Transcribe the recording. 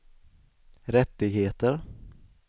rättigheter